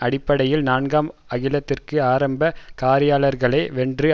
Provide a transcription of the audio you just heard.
அடிப்படையில் நான்காம் அகிலத்திற்கு ஆரம்ப காரியாளர்களை வென்று